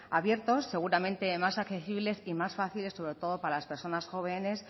abiertos seguramente más accesibles y más fáciles sobre todo para las personas jóvenes